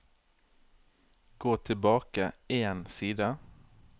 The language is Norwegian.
Gå tilbake én side